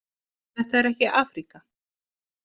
Þetta er ekki Afríka.